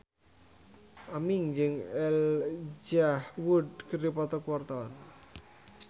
Aming jeung Elijah Wood keur dipoto ku wartawan